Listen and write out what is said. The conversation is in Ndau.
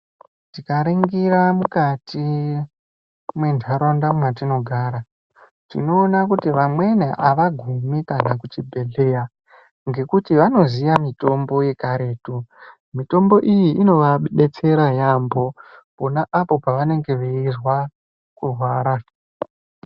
Tikaringira mukati mendaraunda mwatinogari tinogona kuti amweni awagumi kana kuchibhedhleya ngekuti vanoziya mitombo yekaretu. Mitombo iyi inovadetsera yambo ponapo paanenge eirwara kurwara.